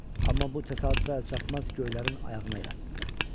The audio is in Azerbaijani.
Amma bu təsadüfü əlçatmaz göylərin ayağına yaz.